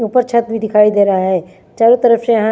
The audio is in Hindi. ऊपर छत भी दिखाई दे रहा है चारो तरफ से हा--